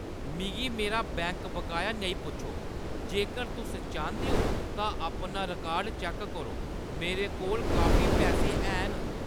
मिगी मेरा बैंक बकाया नेईं पुच्छो। जेकर तुस चांह्‌दे ओ तां अपना रिकार्ड चैक्क करो। मेरे कोल काफी पैसे हैन।